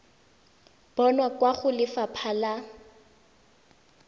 bonwa kwa go lefapha la